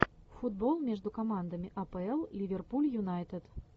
футбол между командами апл ливерпуль юнайтед